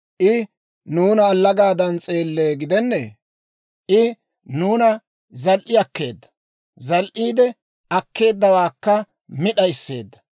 I nuuna allagaadan s'eellee gidennee? I nuuna zal"i akkeedda; zal"iidde akkeeddawaakka mi d'aysseedda.